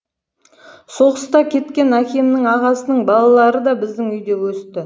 соғыста кеткен әкемнің ағасының балалары да біздің үйде өсті